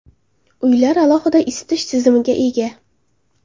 Uylar alohida isitish tizimiga ega.